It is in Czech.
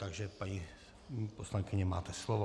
Takže paní poslankyně, máte slovo.